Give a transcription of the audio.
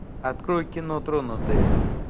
открой кино тронутые